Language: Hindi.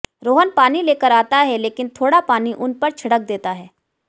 रोहन पानी लेकर आता हैं लेकिन थोडा पानी उन पर छिड़क देता हैं